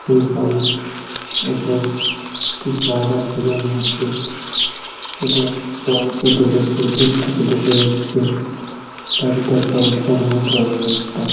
এ বাড়িটার ওপর কিছু আগাছা জন্মেছে এবং রং চোটে গেছে দূর থেকে দেখা যাচ্ছে বাড়িটা প্রায় ভগ্নপ্রায় অবস্থা।